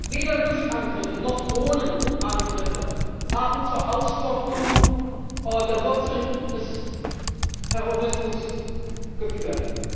Weder Luftangriffe noch Drohnenangriffe haben zur Austrocknung der Wurzeln des Terrorismus geführt.